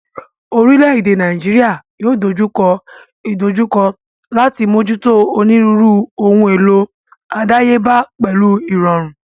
Orílẹ̀ èdè Nàíjíríà yóò dojú kọ ìdojúkọ láti mójútó onírúurú ohun èlò àdáyébá pẹ̀lú ìrọ̀rùn.